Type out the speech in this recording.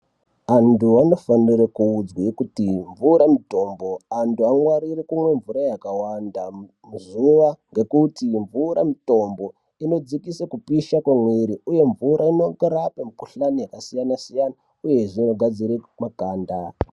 Antu anofanirwe kuudzwe kuti mvura mutombo antu angwarire kumwa mvura yakawanda pazuva ngekuti mvura mutombo ino dzikise kupisha kwe mwiri uye mvura inorape mukuhlani yaka siyana siyana uyezve ino gadzire makanda.